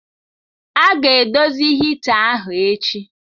A ga-edozi hita ahụ echi.